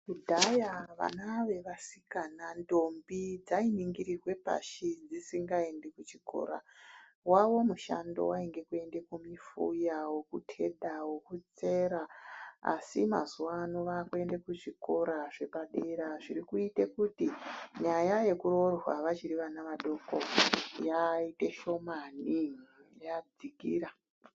Kudhaya vana vevasikana-ndombi dzainingirirwe pashi dzisingaendi kuchikora. Wawo mushando wainge kuende kumifuya, wokuketa, wokusera asi mazuwano vakuende kuzvikora zvepadera zviri kuite kuti nyaya yekuroorwa vachiri vana vadoko yaite shomani, yadzikira .